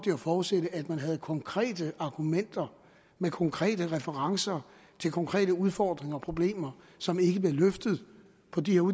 jeg forudsætte at man havde konkrete argumenter med konkrete referencer til konkrete udfordringer og problemer som ikke bliver løftet på de